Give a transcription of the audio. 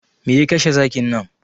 Me ya kashe zakin nan?